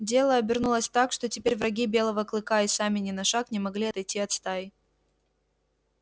дело обернулось так что теперь враги белого клыка и сами ни на шаг не могли отойти от стаи